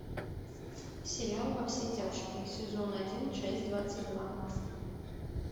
сериал во все тяжкие сезон один часть двадцать два